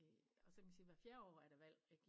Og så kan man sige hver fjerde år er der valg ik